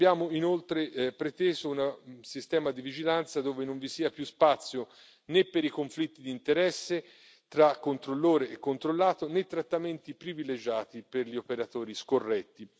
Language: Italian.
Abbiamo inoltre preteso un sistema di vigilanza, dove non vi sia più spazio né per i conflitti di interesse tra controllore e controllato né trattamenti privilegiati per gli operatori scorretti.